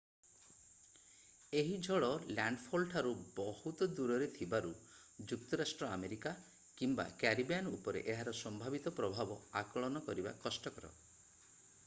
ଏହି ଝଡ଼ ଲ୍ୟାଣ୍ଡଫଲଠାରୁ ବହୁତ ଦୂରରେ ଥିବାରୁ ଯୁକ୍ତରାଷ୍ଟ୍ର ଆମେରିକା କିମ୍ବା କ୍ୟାରିବିଆନ୍ ଉପରେ ଏହାର ସମ୍ଭାବିତ ପ୍ରଭାବ ଆକଳନ କରିବା କଷ୍ଟକର